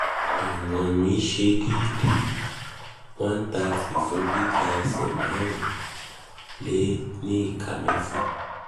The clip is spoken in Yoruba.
ìwọ̀n mí ṣe déédé- one hundred thirty fún gíga ẹsẹ̀ márùn márùn ún ó lé ìka mẹ́fà